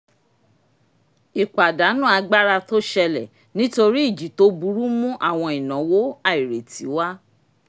ìpàdánù agbára tó ṣẹlẹ̀ nítorí ìjì tó burú mu àwọn ìnáwó àìrètí wá